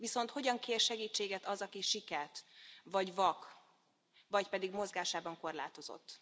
Viszont hogyan kér segítséget az, aki siket vagy vak, vagy pedig mozgásában korlátozott.